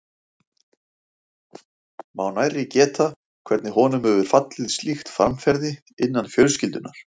Má nærri geta, hvernig honum hefur fallið slíkt framferði innan fjölskyldunnar.